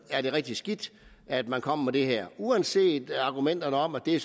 er det rigtig skidt at man kommer med det her uanset argumenterne om at det